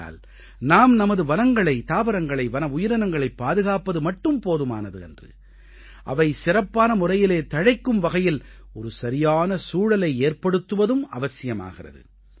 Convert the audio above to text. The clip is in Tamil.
ஆகையால் நாம் நமது வனங்களை தாவரங்களை வன உயிரினங்களை பாதுகாப்பது மட்டும் போதுமானது அன்று அவை சிறப்பான முறையிலே தழைக்கும் வகையில் ஒரு சரியான சூழலை ஏற்படுத்துவதும் அவசியமாகிறது